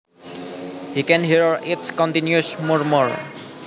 He can hear its continuous murmur